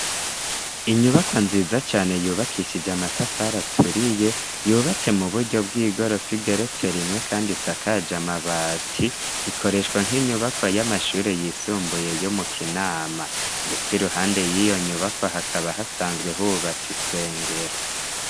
Inyubakwa nziza cane yubakishijwe amatafar aturiye yubatse mu buryo bw'igorofa igeretse rimwe kandi isakaje amabati. Ikoreshwa nk'inyubakwa y'amashuri yisumbuye yo mu Kinama. Ndetse iruhande y'iyo nyubakwa hakaba hasanzwe hubatse isengero.